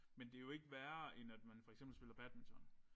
Men det jo ikke værre end at man for eksempel spiller badminton